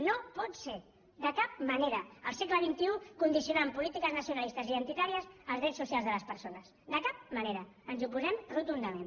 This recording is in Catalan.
no pot ser de cap manera al segle condicionar amb polítiques nacionalistes identitàries els drets socials de les persones de cap manera ens hi oposem rotundament